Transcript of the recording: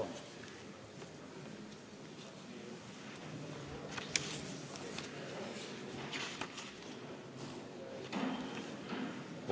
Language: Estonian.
Vabandust!